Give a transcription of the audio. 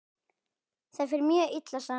Það fer mjög illa saman.